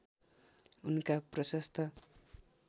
उनका प्रशस्त